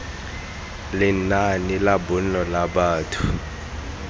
lenaane la bonno la batho